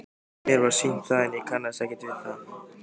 Mér var sýnt það en ég kannaðist ekkert við það.